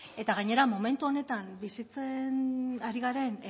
eta gainera momentu honetan bizitzen ari garen